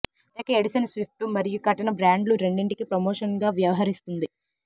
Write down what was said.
ప్రత్యేక edition Swift మరియు కటన బ్రాండ్లు రెండింటికీ ప్రమోషన్గా వ్యవహరిస్తుంది